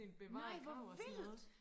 nej hvor vildt